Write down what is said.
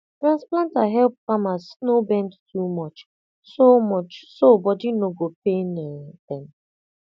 transplanter help farmers no bend too much so much so body no go pain um dem